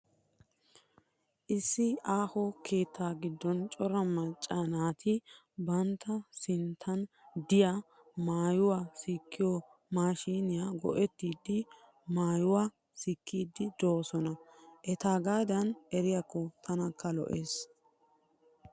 Issi aaho keettaa giddon cora macca naati bantta sinttan de'iya maayuwa sikkiyo maashshiiniya go'ettidi maayuwa sikkiiddi doosona. Etaagaadan eriyakko tanakka lo'es.